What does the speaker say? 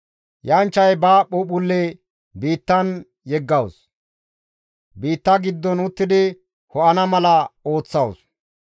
Yanchchay ba phuuphphulle biittan yeggawus; biitta giddon uttidi ho7ana mala ooththawus.